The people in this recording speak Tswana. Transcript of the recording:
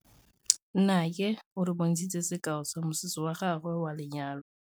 Nnake o re bontshitse sekaô sa mosese wa gagwe wa lenyalo.